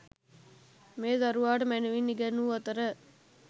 මේ දරුවාට මැනවින් ඉගැන්වූ අතර,